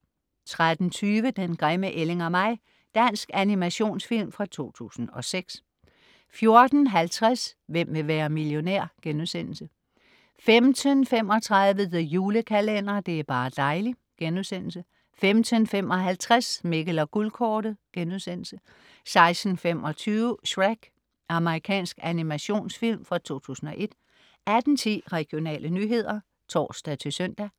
13.20 Den grimme ælling og mig. Dansk animationsfilm fra 2006 14.50 Hvem vil være millionær?* 15.35 The Julekalender. Det er bar' dejli'* 15.55 Mikkel og Guldkortet* 16.25 Shrek. Amerikansk animationsfilm fra 2001 18.10 Regionale nyheder (tors-søn)